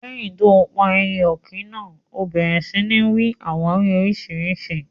Leyin tó pà èyẹ òkín náà, ó bèrè sí ní n wí àwàwí oríṣiríṣi.